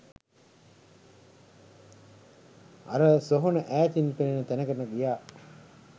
අර සොහොන ඈතින් පෙනෙන තැනකට ගියා